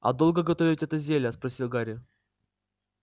а долго готовить это зелье спросил гарри